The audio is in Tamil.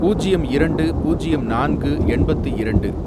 பூஜ்யம் இரண்டு, பூஜ்யம் நான்கு, எண்பத்து இரண்டு